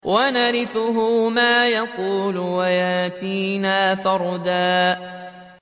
وَنَرِثُهُ مَا يَقُولُ وَيَأْتِينَا فَرْدًا